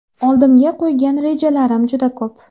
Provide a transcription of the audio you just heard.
Oldimga qo‘ygan rejalarim juda ko‘p.